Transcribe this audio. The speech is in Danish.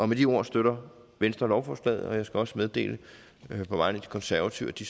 med de ord støtter venstre lovforslaget og jeg skal også meddele på vegne af de konservative at de